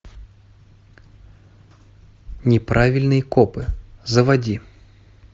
неправильные копы заводи